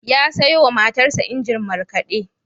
Ya sayo wa matarsa injin markade.